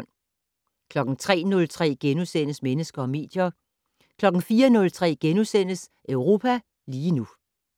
03:03: Mennesker og medier * 04:03: Europa lige nu *